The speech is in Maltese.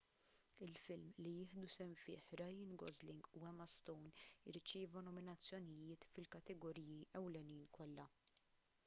il-film li jieħdu sehem fih ryan gosling u emma stone irċieva nominazzjonijiet fil-kategoriji ewlenin kollha